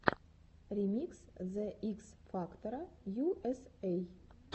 ремикс зе икс фактора ю эс эй